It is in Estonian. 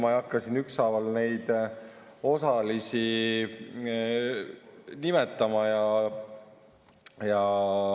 Ma ei hakka siin ükshaaval neid osalisi nimetama.